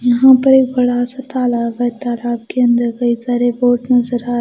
यहां पर एक बड़ा सा तालाब है तालाब के अंदर कई सारे बोट नजर आ--